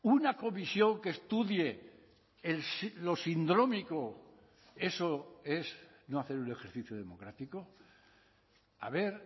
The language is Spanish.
una comisión que estudie lo sindrómico eso es no hacer un ejercicio democrático a ver